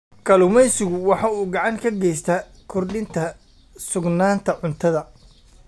Kalluumaysigu waxa uu gacan ka geystaa kordhinta sugnaanta cuntada.